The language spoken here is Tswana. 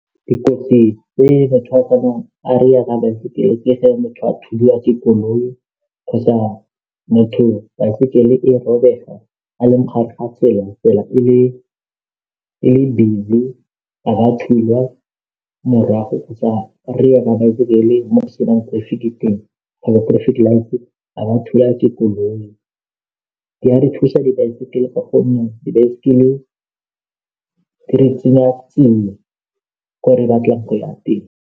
Dikotsi tse batho a tsena a ka baesekele ke gecmotho a thuliwa ke koloi kgotsa motho baesekele e robega a leng gare ga tsela e le busy a ba thulwa morago kgotsa rekela ka baesekele mo go senang traffic light a ba thulwa ke dikoloi di ka re thusa dibaesekele ka gonne dibaesekele di re tseya tsia ko re batlang go ya teng.